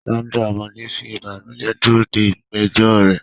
Sandra, ọmọdé, ń fi ìbànújẹ́ dúró de ìgbẹ́jọ́ rẹ̀.